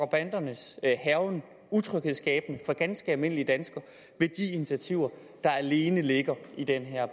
bandernes hærgen utryghedsskabende for ganske almindelige danskere med de initiativer der alene ligger i den her